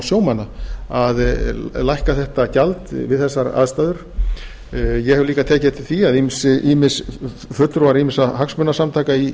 sjómanna að lækka þetta gjald við þessar aðstæður ég hef líka tekið eftir því að fulltrúar ýmissa hagsmunasamtaka í